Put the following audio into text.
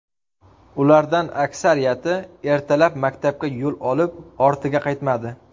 Ulardan aksariyati ertalab maktabga yo‘l olib, ortiga qaytmadi.